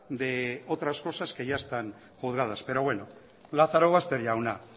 de otras cosas que ya están juzgadas pero bueno lazarobaster jauna